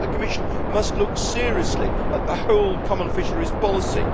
I think the Commission must look seriously at the whole Common Fisheries Policy.